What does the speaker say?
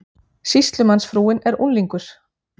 Sýslumannsfrúin er unglingur.